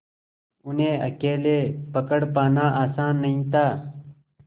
उन्हें अकेले पकड़ पाना आसान नहीं था